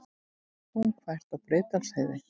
Þungfært er á Breiðdalsheiði